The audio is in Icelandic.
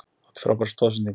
Átti frábæra stoðsendingu.